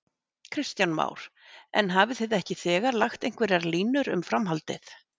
Kristján Már: En hafið þið ekki þegar lagt einhverjar línur um framhaldið?